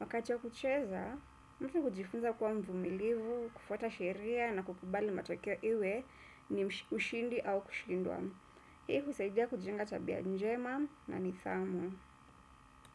Wakati wa kucheza, mtu hujifunza kuwa mvumilivu, kufuata sheria na kukubali matokeo iwe ni ushindi au kushindwa. Hii husaidia kujenga tabia njema na nidhamu.